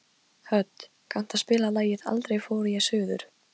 Hödd, kanntu að spila lagið „Aldrei fór ég suður“?